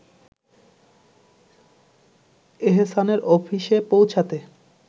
এহসানের অফিসে পৌঁছাতে